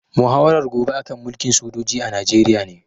Muhawarar gobe a kan mulkin sojoji a Najeriya ne